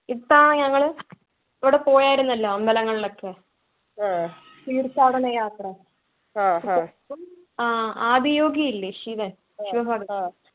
ഇപ്പൊ ഞാനങ്ങള് അവിടെ പോയാരുന്നല്ലോ അമ്പലങ്ങളൊക്കെ തീർത്ഥാടന യാത്ര ആഹ് ആദിയോഗി ഇല്ലേ ശിവൻ ശിവ ഭഗവാൻ